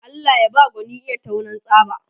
Allah baya ba gwani iya taunan tsaba